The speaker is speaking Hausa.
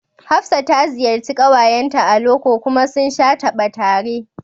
Hafsat ta ziyarci ƙawayenta a loko kuma sun sha taba tare